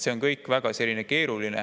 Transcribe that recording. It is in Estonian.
See on kõik väga keeruline.